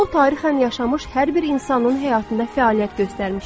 O, tarixən yaşamış hər bir insanın həyatında fəaliyyət göstərmişdi.